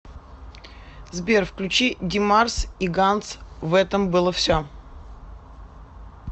сбер включи димарс и ганс в этом было все